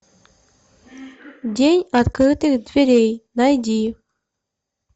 день открытых дверей найди